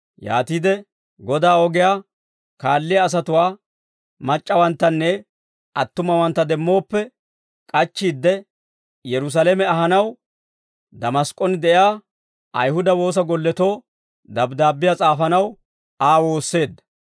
Yaatiide Godaa ogiyaa kaalliyaa asatuwaa mac'c'awanttanne attumawantta demmooppe, k'achchiide Yerusaalame ahanaw, Damask'k'on de'iyaa Ayihuda woosa golletoo dabddaabbiyaa s'aafanaw Aa woosseedda.